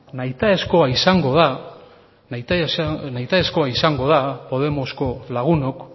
nahitaezkoa izango da podemosko lagunok